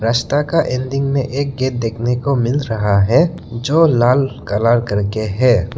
रास्ता का एंडिंग में एक गेट देखने को मिल रहा है जो लाल कलर करके है।